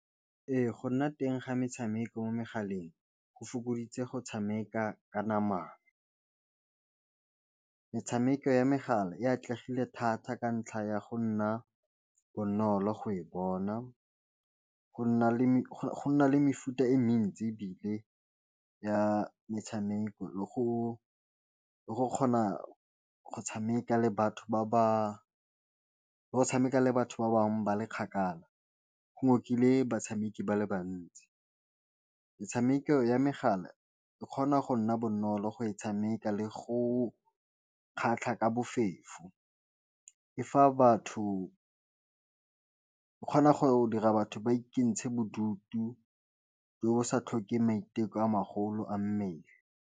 Ee go nna teng ga metshameko mo megaleng go fokoditse go tshameka ka namana metshameko ya megala e atlegile thata ka ntlha ya go nna bonolo go e bona, go nna le mefuta e mentsi e bile ya metshameko le go kgona go tshameka le batho ba tshameka le batho ba bangwe ba le kgakala, go ngokile batshameki ba le bantsi, metshameko ya megala e kgona go nna bonolo go e tshameka le go kgatlha ka bofefo e fa batho e kgona go dira batho ba ikentsha bodutu le go sa tlhoke maiteko a magolo a mmele.